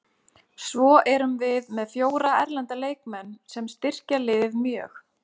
Svo erum við með fjóra erlenda leikmenn sem styrkja liðið mjög.